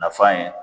Nafa ye